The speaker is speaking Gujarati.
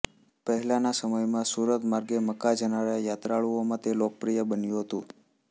પહેલાના સમયમાં સુરત માર્ગે મક્કા જનારા યાત્રાળુઓમાં તે લોકપ્રિય બન્યું હતું